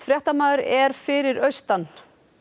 fréttamaður er fyrir austan